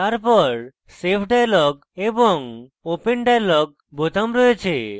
তারপর save dialog এবং open dialog বোতাম রয়েছে